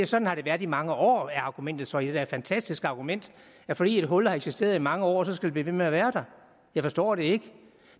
sådan har det været i mange år er argumentet så det er da et fantastisk argument at fordi et hul har eksisteret i mange år så skal det blive ved med at være der jeg forstår det ikke